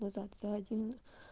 назад за один